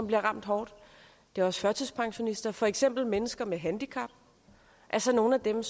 bliver ramt hårdt det er også førtidspensionisterne for eksempel mennesker med handicap altså nogle af dem